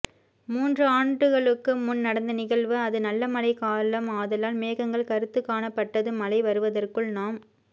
மூன்றுஆண்டுகளுக்கு முன் நடந்த நிகழ்வு அதுநல்லமழை காலம் ஆதலால் மேகங்கள் கருத்துக் காணப்பட்டது மழை வருவதற்குள் நாம்